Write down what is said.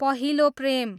पहिलो प्रेम